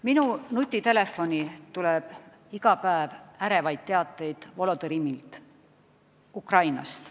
Minu nutitelefoni tuleb iga päev ärevaid teateid Volodõmõrilt Ukrainast.